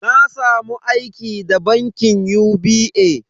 Na samu aiki da bankin UBA.